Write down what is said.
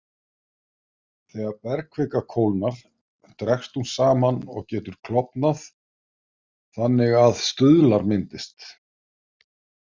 Þegar bergkvika kólnar dregst hún saman og getur klofnað þannig að stuðlar myndist.